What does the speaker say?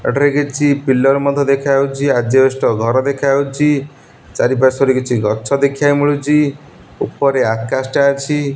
ଏଠାରେ କିଛି ପିଲର ମଧ୍ୟ୍ୟ ଦେଖାହୋଉଛି। ଆଜବେଷ୍ଟ ଘର ଦେଖାଯାଉଚି। ଚାରି ପାଶ୍ୱରେ କିଛି ଗଛ ଦେଖିବାକୁ ମିଳୁଚି ଉପରେ ଆକାଶ ଟା ଅଛି।